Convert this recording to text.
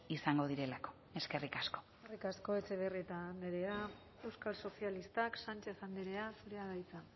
izango direlako eskerrik asko eskerrik asko etxebarrieta andrea euskal sozialistak sánchez andrea zurea da hitza